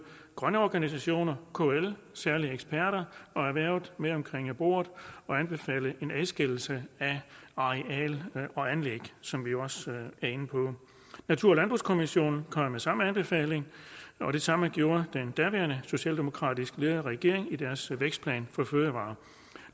grønne organisationer kl særlige eksperter og erhvervet med omkring bordet og anbefalede en adskillelse af areal og anlæg som vi jo også er inde på natur og landbrugskommissionen kom med samme anbefaling og det samme gjorde den daværende socialdemokratisk ledede regering i deres vækstplan for fødevarer